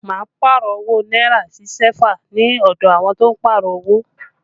Mo Pààrọ̀ owó náírà sí sẹ́fà ní ọdọ àwọn tó ń Pààrọ̀ owó